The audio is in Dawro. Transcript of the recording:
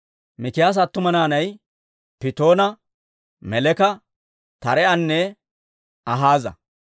Mikiyaasa attuma naanay Pittoona, Meleka, Taree'anne Akaaza.